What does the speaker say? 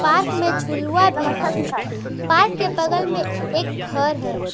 Park में झुलुवा भी है पार्क के बगल में एक घर भी है।